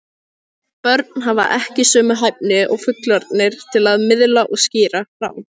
Börn hafa ekki sömu hæfni og fullorðnir til að miðla og skýra frá.